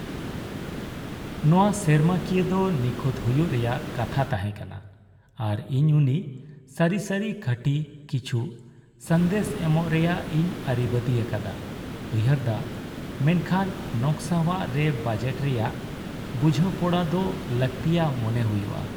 ᱱᱚᱶᱟ ᱥᱮᱨᱢᱟᱠᱤᱭᱟᱹ ᱫᱚ ᱱᱤᱠᱷᱩᱛ ᱦᱩᱭᱩᱜ ᱨᱮᱭᱟᱜ ᱠᱟᱛᱷᱟ ᱛᱟᱦᱮᱸ ᱠᱟᱱᱟ, ᱟᱨ ᱤᱧ ᱩᱱᱤ ᱥᱟᱹᱨᱤ ᱥᱟᱹᱨᱤ ᱠᱷᱟᱹᱴᱤ ᱠᱤᱠᱷᱩ ᱥᱟᱸᱫᱮᱥ ᱮᱢᱚᱜ ᱨᱮᱭᱟᱜ ᱤᱧ ᱟᱹᱨᱤᱵᱟᱺᱫᱤ ᱟᱠᱟᱫᱟ ᱩᱭᱦᱟᱹᱨ ᱫᱟ ᱾ᱢᱮᱱᱠᱷᱟᱱ ᱱᱚᱠᱥᱟᱣᱟᱜ ᱨᱮ ᱵᱟᱡᱮᱴ ᱨᱮᱭᱟᱜ ᱵᱩᱡᱷᱟᱹᱼᱯᱚᱲᱟ ᱫᱚ ᱞᱟᱹᱠᱛᱤᱭᱟᱜ ᱢᱚᱱᱮ ᱦᱩᱭᱩᱜᱼᱟ ᱾